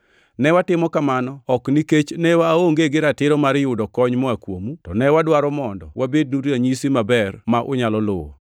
Ne watimo kamano ok nikech ne waonge gi ratiro mar yudo kony moa kuomu, to ne wadwaro mondo wabednu ranyisi maber ma unyalo luwo.